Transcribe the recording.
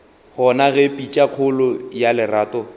gona ge pitšakgolo ya lerato